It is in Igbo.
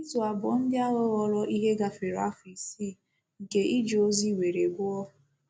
Izu abụọ ndị ahụ ghọọrọ ihe gafere afọ isii nke ije ozi nwere ụgwọ.